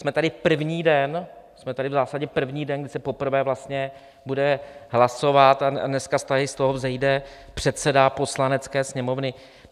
Jsme tady první den, jsme tady v zásadě první den, kdy se poprvé vlastně bude hlasovat, a dneska tady z toho vzejde předseda Poslanecké sněmovny.